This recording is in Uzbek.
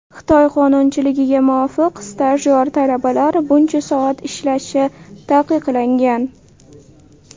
Xitoy qonunchiligiga muvofiq, stajyor talabalar buncha soat ishlashi taqiqlangan.